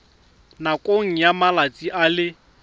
nakong ya malatsi a le